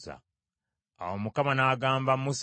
Awo Mukama n’agamba Musa nti,